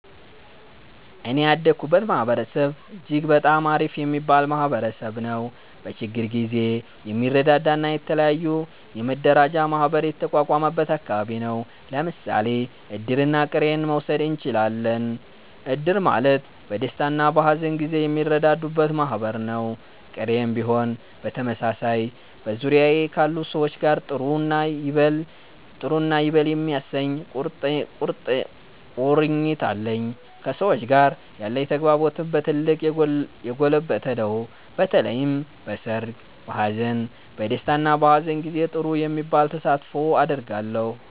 እኔ ያደኩበት ማህበረሰብ እጅግ በጣም አሪፍ የሚባል ማህበረሰብ ነዉ። በችግር ጊዜ የሚረዳዳ እና የተለያዩ የመረዳጃ ማህበር የተቋቋመበት አከባቢ ነው። ለምሳሌ እድርና ቅሬን መዉሰድ እችላለን። እድር ማለት በደስታና በሀዘን ጊዜ የሚረዳዱበት ማህበር ነው፤ ቅሬም ቢሆን በተመሳሳይ። በዙሪያዬ ካሉ ሰዎች ጋር ጥሩ እና ይበል የሚያሰኝ ቁርኝት አለኝ። ከሰዎች ጋር ያለኝ ተግባቦትም በ ትልቁ የጎለበተ ነው። በተለይም በሰርግ፣ በሃዘን፣ በ ደስታ እና በሃዘን ጊዜ ጥሩ የሚባል ተሳትፎ አደርጋለሁ።